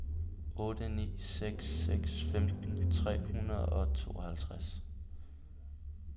otte ni seks seks femten tre hundrede og tooghalvtreds